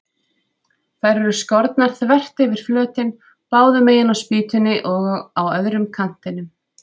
Þær eru skornar þvert yfir flötinn, báðu megin á spýtunni og á öðrum kantinum.